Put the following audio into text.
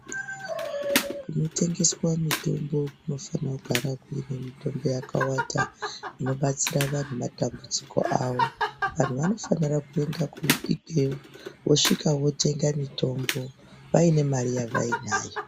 Kunotengeswa mitombo kunofanira kugara kuine mitombo yakawanda inobatsira vantu matambudziko avo. Vantu vanofanira kuenda ikweyp wosvika wosvika wotenga mitombo yainr mari yavai nayo.